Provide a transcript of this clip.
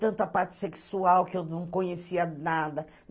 Tanta parte sexual que eu não conhecia nada.